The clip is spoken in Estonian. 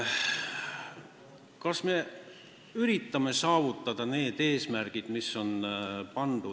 Kas me üritame saavutada seatud eesmärke?